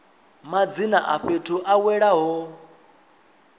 madzina a fhethu a welaho